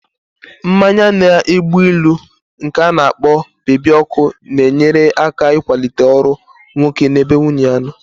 Mmanya na-egbu ilu nke ana-kpo bebi ọkụ na-enyere aka ịkwalite ọrụ nwoke na-ebe nwunye ya nọ